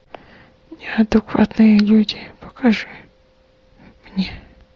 неадекватные люди покажи мне